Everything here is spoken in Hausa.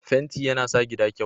fenti ya na sa gida kyau